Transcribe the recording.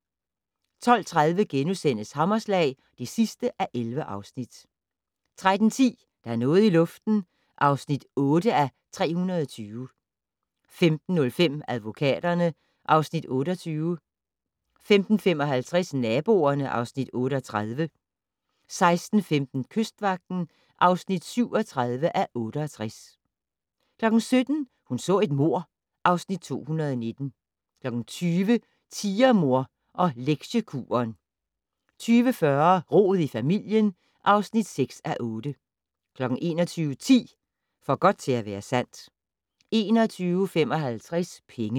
12:30: Hammerslag (11:11)* 13:10: Der er noget i luften (8:320) 15:05: Advokaterne (Afs. 28) 15:55: Naboerne (Afs. 38) 16:15: Kystvagten (37:68) 17:00: Hun så et mord (Afs. 219) 20:00: Tigermor og Lektiekuren 20:40: Rod i familien (6:8) 21:10: For godt til at være sandt 21:55: Penge